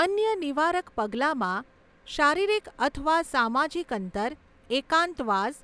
અન્ય નિવારક પગલાંમાં શારીરિક અથવા સામાજિક અંતર, એકાંતવાસ,